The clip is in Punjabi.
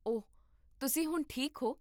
ਓਹ, ਤੁਸੀਂ ਹੁਣ ਠੀਕ ਹੋ?